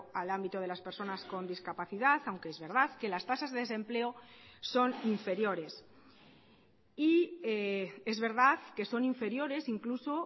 al ámbito de las personas con discapacidad aunque es verdad que las tasas de desempleo son inferiores y es verdad que son inferiores incluso